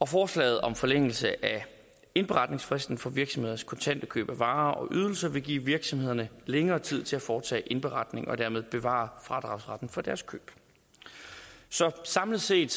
forslaget om forlængelse af indberetningsfristen for virksomheders kontante køb af varer og ydelser vil give virksomhederne længere tid til at foretage indberetning og dermed bevare fradragsretten for deres køb så samlet set